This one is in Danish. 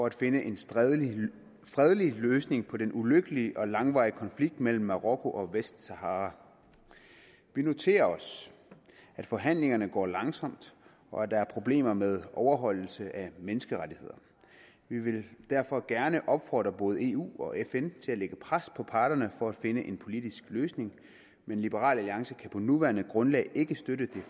at finde en fredelig løsning på den ulykkelige og langvarige konflikt mellem marokko og vestsahara vi noterer os at forhandlingerne går langsomt og at der er problemer med overholdelse af menneskerettigheder vi vil derfor gerne opfordre både eu og fn til at lægge pres på parterne for at finde en politisk løsning men liberal alliance kan på det nuværende grundlag ikke støtte det